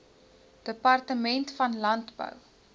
departement van landbou